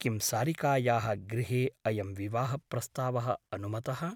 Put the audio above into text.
किं सारिकायाः गृहे अयं विवाहप्रस्तावः अनुमतः ?